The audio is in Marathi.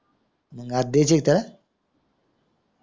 मंग आज द्याचे आहे का त्याला